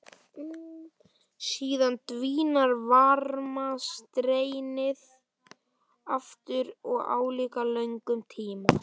Síðan dvínar varmastreymið aftur á álíka löngum tíma.